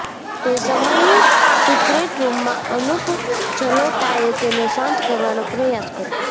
તે સમયે સીક્રેટ રૂમમાં અનુપ જલોટાએ તેને શાંત કરવાનો પ્રયાસ કર્યો